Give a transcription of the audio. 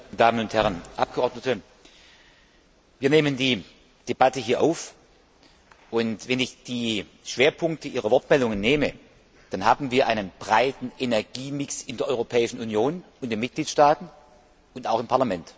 Herr Präsident, meine sehr verehrten Damen und Herren Abgeordnete! Wir nehmen die Debatte hier auf, und wenn ich die Schwerpunkte Ihrer Wortmeldungen nehme, dann haben wir einen breiten Energiemix in der Europäischen Union, in den Mitgliedstaaten und auch im Parlament.